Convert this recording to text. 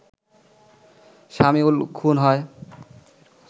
সামিউল খুন হয়